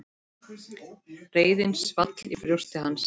Reiðin svall í brjósti hans.